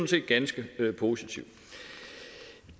set ganske positivt